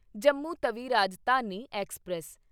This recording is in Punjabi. ਜੰਮੂ ਤਵੀ ਰਾਜਧਾਨੀ ਐਕਸਪ੍ਰੈਸ